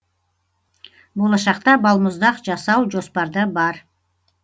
болашақта балмұздақ жасау жоспарда бар